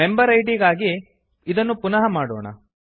ಮೆಂಬೆರಿಡ್ ಗಾಗಿ ಇದನ್ನು ಪುನಃ ಮಾಡೋಣ